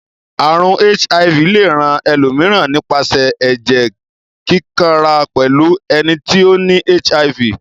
Àrùn HIV le rán elòmíràn nípasẹ̀ ẹ́jẹ́ kíkanra pẹ́lu eni ti o ni HIV